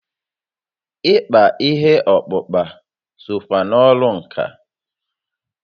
Ịkpa ihe ọkpụkpa sokwa na ọrụ ǹkà